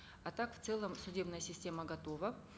а так в целом судебная система готова